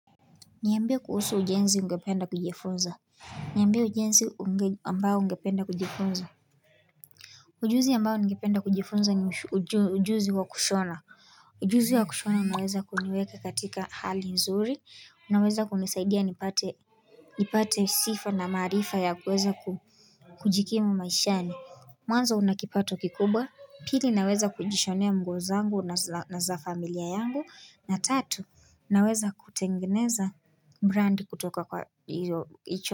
Niambie kuhusu ujenzi ungependa kujifunza Niambie ujenzi ambao ungependa kujifunza Ujuzi ambao ningependa kujifunza ni ujuzi wa kushona Ujuzi wa kushona unaweza kuniweka katika hali nzuri unaweza kunisaidia nipate nipate sifa na maarifa ya kuweza kujikimu maishani Mwanzo una kipato kikubwa pili naweza kujishonea nguo zangu na za familia yangu na tatu Naweza kutengeneza brandi kutoka kwa hio hicho.